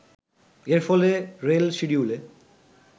এর ফলে রেল শিডিউলে